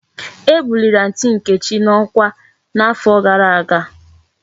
E buliri aunty nkechi na okwa na afo gara aga